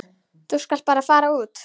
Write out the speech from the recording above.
Þú skalt bara fara út.